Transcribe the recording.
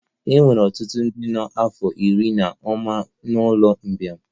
E nwere ọtụtụ ndị nọ n'afọ iri na ụma n'ụlọ mgbei